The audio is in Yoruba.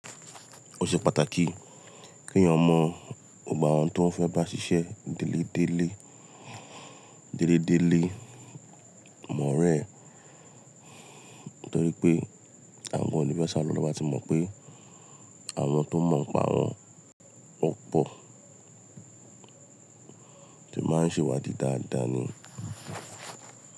Ó ṣe pàtàkì ke ẹ̀yàn mọ̀ gbogbo àwọn tó fẹ́ bá ṣiṣẹ́ délédélé, délédélé àwon ọ̀ọ́rẹ́, torí pé àwọn gan òní fé sá ló to bá ti mọ̀ pé àwọn tó mọ̀ ń pa awọ̀n wọn pọ̀ ti máa ń ṣèwádìí dáadáa ni.